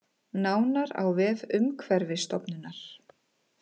Nánar á vef Umhverfisstofnunar